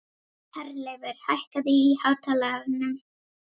Herleifur, hækkaðu í hátalaranum.